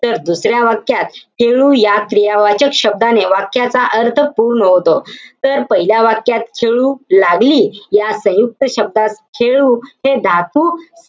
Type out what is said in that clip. तर दुसऱ्या वाक्यात, खेळू या क्रियावाचक शब्दाने वाक्याचा अर्थ पूर्ण होतो. तर पहिल्या वाक्यात, खेळू लागली या सयुंक्त शब्दात खेळू हे धातू,